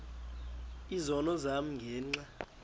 izono zam ngenxa